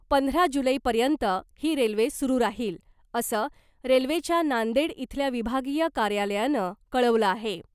पंधरा जुलैपर्यंत ही रेल्वे सुरू राहील , असं रेल्वेच्या नांदेड इथल्या विभागीय कार्यालयानं कळवलं आहे .